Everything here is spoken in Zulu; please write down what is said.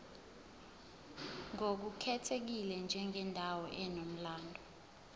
ngokukhethekile njengendawo enomlando